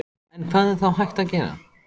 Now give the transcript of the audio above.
En hvað er þá hægt að gera?